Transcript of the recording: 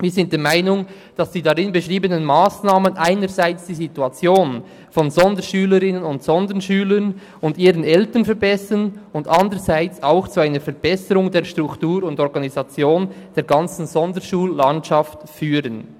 Wir sind der Meinung, dass die darin beschriebenen Massnahmen einerseits die Situation von Sonderschülerinnen und Sonderschülern sowie ihren Eltern verbessern und andererseits auch zu einer Verbesserung der Struktur und Organisation der ganzen Sonderschullandschaft führen.